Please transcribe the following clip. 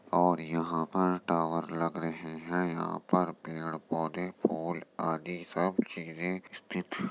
और यहाँ पर टॉवर लग रहे हैं। यहाँ पर पेड़ पौधे फूल आदि सब चीजें स्थित --